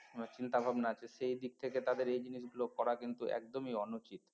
চিন্তাভাবনা আছে সেই দিক থেকে তাদের এই জিনিসগুলো করা কিন্তু একদমই অনুচিত